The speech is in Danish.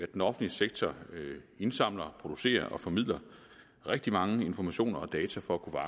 den offentlige sektor indsamler producerer og formidler rigtig mange informationer og data for at